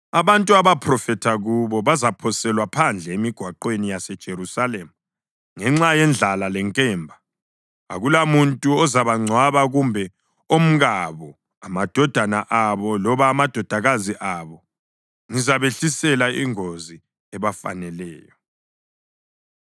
Abantu abaphrofetha kubo bazaphoselwa phandle emigwaqweni yaseJerusalema ngenxa yendlala lenkemba. Akulamuntu ozabangcwaba kumbe omkabo, amadodana abo loba amadodakazi abo. Ngizabehlisela ingozi ebafaneleyo.